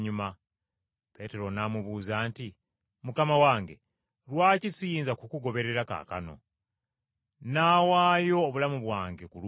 Peetero n’amubuuza nti, “Mukama wange, lwaki siyinza kukugoberera kaakano? Nnaawaayo obulamu bwange ku lulwo.”